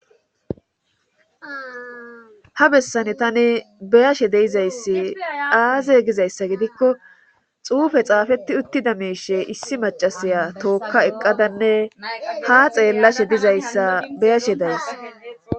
ha bessane tani beyashe deizayssi aze gizayssa gidikko xuufe xaafetti uttida meeshe issi macasaya tookka eqqadanne ha xeellashe dizayssa beyashe daysa